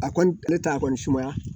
A kɔni ne ta a kɔni sumaya